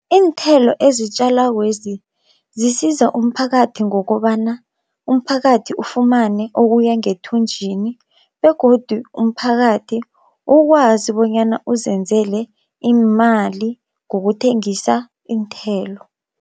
Iinthelo ezitjalakwezi zisiza umphakathi ngokobana umphakathi ufumane okuya ngethunjini, begodu umphakathi ukwazi bonyana uzenzele iimali ngokuthengisa iinthelo.